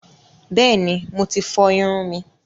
Bẹ́ẹ̀ni, Mo ti fọ ìrun mi